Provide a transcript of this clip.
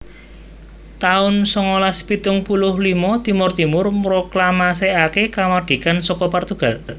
taun songolas pitung puluh limo Timor Timur mroklamasèkaké kamardikan saka Portugal